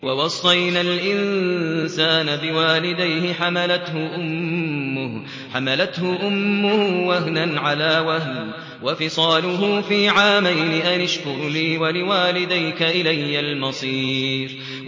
وَوَصَّيْنَا الْإِنسَانَ بِوَالِدَيْهِ حَمَلَتْهُ أُمُّهُ وَهْنًا عَلَىٰ وَهْنٍ وَفِصَالُهُ فِي عَامَيْنِ أَنِ اشْكُرْ لِي وَلِوَالِدَيْكَ إِلَيَّ الْمَصِيرُ